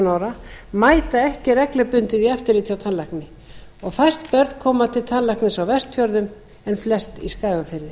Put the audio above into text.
ára mæta ekki reglubundið í eftirlit hjá tannlækni og fæst börn koma til tannlæknis á vestfjörðum en flest í skagafirði